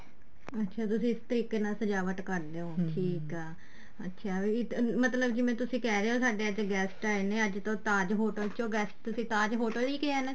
ਅੱਛਾ ਤੁਸੀਂ ਇਸ ਤਰੀਕੇ ਨਾਲ ਸਜਾਵਟ ਕਰਦੇ ਹੋ ਅੱਛਾ ਜਿਵੇਂ ਵੀ ਮਤਲਬ ਤੁਸੀਂ ਕਹਿ ਰਹੇ ਹੋ ਸਾਡੇ ਅੱਜ guest ਆਏ ਨੇ ਅੱਜ ਤੋ Taj hotel ਚੋ guest ਤੁਸੀਂ Taj hotel ਹੀ ਕਹਿਆ